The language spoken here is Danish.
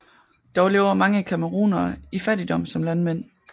Dog lever mange camerounere i fattigdom som landmænd